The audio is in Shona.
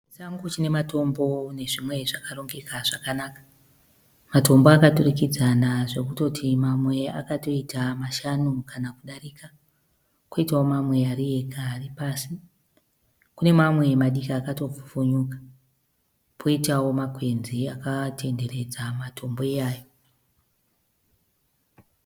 Chisango chine matombo nezvimwe zvakarongeka zvakanaka. Matambo akaturikidzana zvekutoti mamwe akatoita mashanu kana kudarika, kwoitawo mamwe ari ega ari pasi. Kune mamwe madiki akatopfupfunyuka kwoitawo makwenzi akakomberedza matombo iyawo.